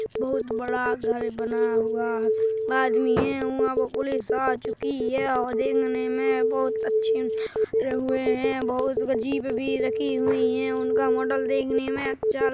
बहुत बड़ा घर बना हुआ है आदमी ये उआ पे पुलीस आ चुकी है और देखने में बहुत अच्छी है बहूत जिप भी रखी हुईं है उनका मॉडल देखने में अच्छा --